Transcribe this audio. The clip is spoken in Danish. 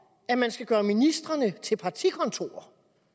at man skal gøre ministerierne til partikontorer